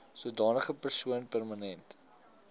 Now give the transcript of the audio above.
sodanige persoon permanent